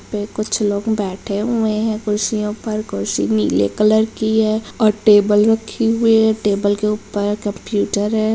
पे कुछ लोग बैठे हुए हैं कुर्सियों पर कुर्सी नीले कलर की है और टेबल रखी हुई है टेबल के ऊपर कंप्यूटर है।